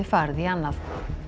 farið í annað